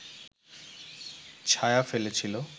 ছায়া ফেলেছিল